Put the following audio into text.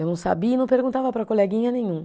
Eu não sabia e não perguntava para coleguinha nenhum.